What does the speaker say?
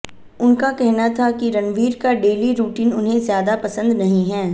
उनका कहना था कि रणवीर का डेली रूटीन उन्हें ज्यादा पसंद नहीं है